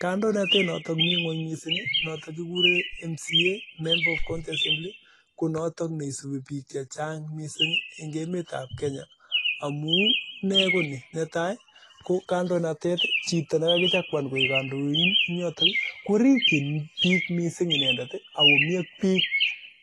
Kandonatet ab mca notok mii ngony missing konotok neisubii bik chechang amuu netai chito nemii yotok korichik bik